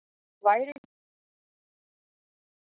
Væruð þið til í að útskýra það betur?